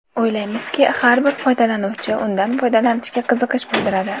O‘ylaymizki, har bir foydalanuvchi undan foydalanishga qiziqish bildiradi”.